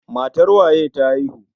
Matar waye ta haihu?